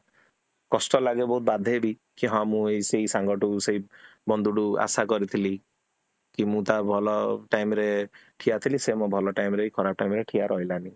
କଷ୍ଟ ଲଲାଗେ ଆଉ ବଢେ ବି କି ହଁ ମୁଁ ସେଇ ସାଙ୍ଗଠୁ ସେଇ ବନ୍ଧୁଠୁ ଆସ କରିଥିଲି କି ମୁଁ ତା ଭଲ time ରେ ଠିଆ ଥିଲି କିନ୍ତୁ ସେ ମୋ ଭଲ time ରେ କି ଖରାପ time ରେ ଠିଆ ରହିଲାନି